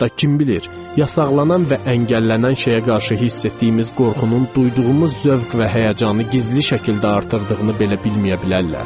Hətta kim bilir, yasaqlanan və əngəllənən şeyə qarşı hiss etdiyimiz qorxunun, duyduğumuz zövq və həyəcanı gizli şəkildə artırdığını belə bilməyə bilərlər.